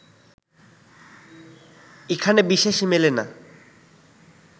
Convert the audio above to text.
এখানে বিশেষ মেলে না